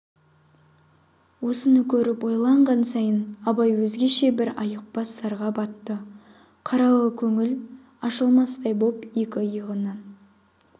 осыны көріп ойланған сайын абай өзгеше бір айықпас зарға батты қаралы көңіл ашылмастай боп екі иығынан